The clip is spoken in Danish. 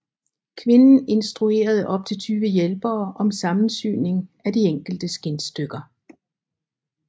Kvinden instruerede op til tyve hjælpere om sammensyningen af de enkelte skindstykker